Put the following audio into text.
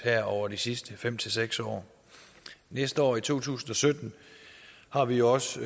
over de sidste fem seks år næste år i to tusind og sytten har vi også